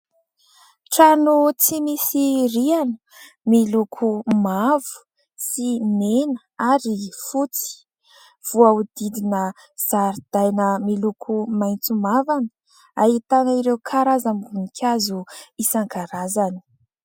Trano tsy misy rihana. Miloko mavo sy mena ary fotsy. Voahodidina zaridaina miloko maitso mavana. Ahitana ireo karazam-boninkazo isankarazany.